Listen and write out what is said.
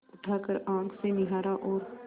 उठाकर आँख से निहारा और